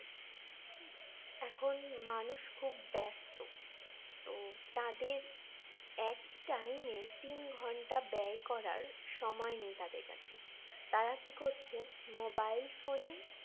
এখন মানুষ খুব ব্যস্ত তো তাদের একই time এ তিন ঘন্টা ব্যয় করার সময় নেই তাদের কাছে তারা কি করছে mobile phone এ